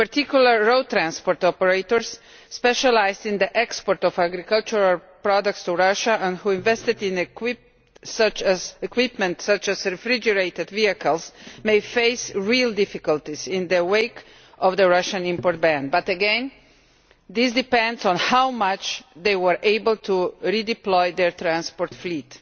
In particular, road transport operators specialised in the export of agricultural products to Russia and who invested in equipment such as refrigerated vehicles may face real difficulties in the wake of the Russian import ban, but again this depends on how much they were able to redeploy their transport fleet.